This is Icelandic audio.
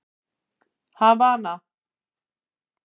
Havana